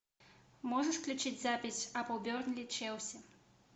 можешь включить запись апл бернли челси